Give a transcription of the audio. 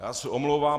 Já se omlouvám.